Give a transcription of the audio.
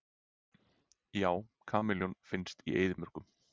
Já, kameljón finnast í eyðimörkum.